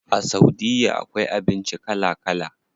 A saudiya akwai abinci kala kala.